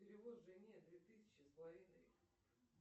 перевод жене две тысячи с половиной